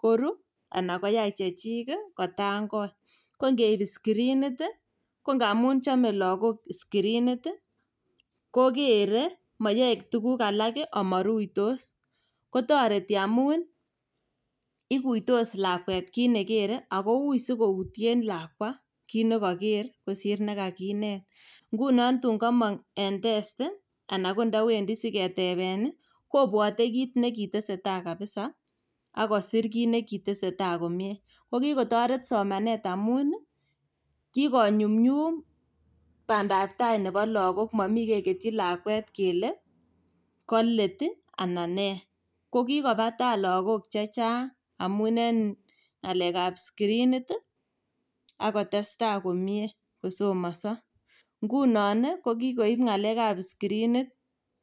koru anan koyai chechik ii kotangoi. Kongeib skirinit ii ko ngamun chome logok skirinit ii kokere moyoe tuguk alak ii omoruitos. Kotoreti amun ikuitos lakwet kit nekere ok ui koutien lakwa kit nekoker kosir nekakinet. Ngunon tun komong' en testi ana ndowendi siketeben obwote kit nekitesetai kabisa ak kosir kit nekitesetai komie. Kokitoret somanet amun kikonyumnyum bandaptai nebo logok, momi keketyi lakwet kele kolet ii ana nee. Kokikoba tai logok chechang' amun en ng'alekab skirinit ak kotestai komie kosomoso. Ngunon ii kikokoib ng'alekab skirinit.